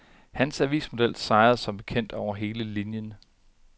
Han avismodel sejrede som bekendt over hele linjen.